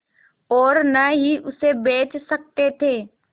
और न ही उसे बेच सकते थे